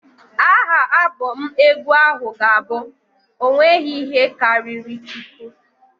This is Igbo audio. Aha Abọm egwu ahụ ga-abụ "ọ nweghị ihe karịrị Chukwu".